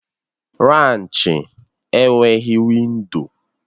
Raanchi enweghị windo.